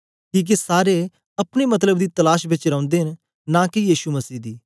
किके सारे अपने मतलब दी तलाश बेच रौंदे न नां के यीशु मसीह दी